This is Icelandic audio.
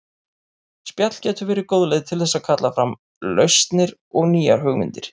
Spjall getur verið góð leið til þess að kalla fram lausnir og nýjar hugmyndir.